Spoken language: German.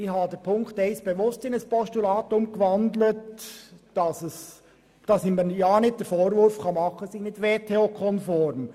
Ich habe Ziffer 1 bewusst in ein Postulat gewandelt, damit man mir nicht den Vorwurf machen kann, es sei nicht WTO-konform.